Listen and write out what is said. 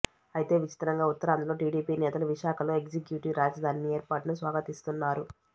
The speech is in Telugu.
అయితే విచిత్రంగా ఉత్తరాంధ్రలో టీడీపీ నేతలు విశాఖలో ఎగ్జిక్యూటివ్ రాజధానిని ఏర్పాటును స్వాగతిస్తున్నారు